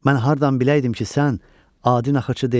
Mən hardan biləydim ki, sən adi naxırçı deyilsən.